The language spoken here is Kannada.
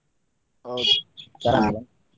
ಹೌದು.